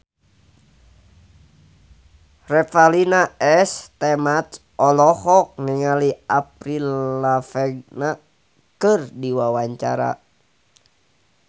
Revalina S. Temat olohok ningali Avril Lavigne keur diwawancara